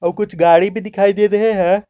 वो कुछ गाड़ी भी दिखाई दे रहे हैं।